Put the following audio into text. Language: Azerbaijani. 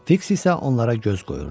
Fiks isə onlara göz qoyurdu.